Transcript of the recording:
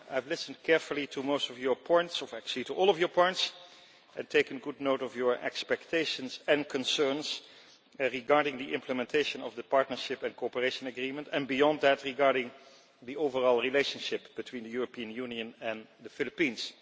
I have listened carefully to most of your points, actually to all of your points, and taken good note of your expectations and concerns regarding the implementation of the Partnership and Cooperation Agreement and beyond that regarding the overall relationship between the European Union and the Philippines.